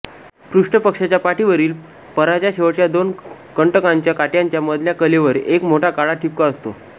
पृष्ठपक्षाच्या पाठीवरील पराच्या शेवटच्या दोन कंटकांच्या काट्यांच्या मधल्या कलेवर एक मोठा काळा ठिपका असतो